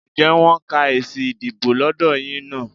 Ǹjẹ́ wọ́n ń ka èsì ìdìbò lọ́dọ̀ yín náà?